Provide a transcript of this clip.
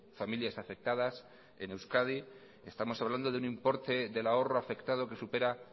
familias afectadas en euskadi estamos hablando de un importe del ahorro afectado que supera